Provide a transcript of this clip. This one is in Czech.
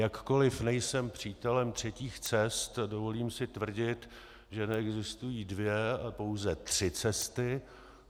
Jakkoliv nejsem přítelem třetích cest, dovolím si tvrdit, že neexistují dvě, ale pouze tři cesty.